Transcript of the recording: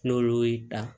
N'olu y'i dan